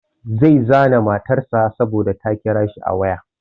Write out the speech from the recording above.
Zai zane matar sa saboda ta kira shi a waya.